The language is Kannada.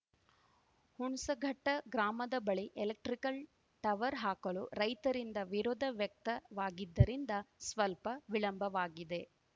ಹುಣಸಘಟ್ಟಗ್ರಾಮದ ಬಳಿ ಎಲೆಕ್ಟ್ರಿಕಲ್‌ ಟವರ್‌ ಹಾಕಲು ರೈತರಿಂದ ವಿರೋಧ ವ್ಯಕ್ತವಾಗಿದ್ದರಿಂದ ಸ್ವಲ್ಪ ವಿಳಂಬವಾಗಿದೆ